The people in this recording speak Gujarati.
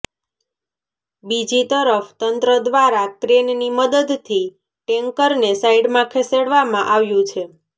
બીજી તરફ તંત્ર દ્વારા ક્રેનની મદદથી ટેન્કરને સાઈડમાં ખસેડવામાં આવ્યું છે